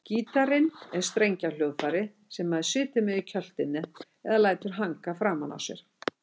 Gítarinn er strengjahljóðfæri sem maður situr með í kjöltunni eða lætur hanga framan á sér.